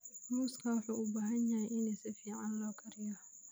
Muuska wuxuu u baahan yahay in si fiican loo kariyo.